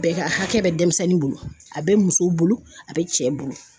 Bɛɛ ka hakɛ bɛ denmisɛnnin bolo a bɛ musow bolo a bɛ cɛ bolo.